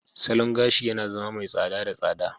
Salon gashi yana zama mai tsada da tsada.